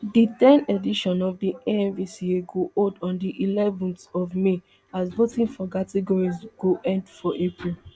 di ten edition of di amvca go hold on di eleven th of may as voting for categories go end for april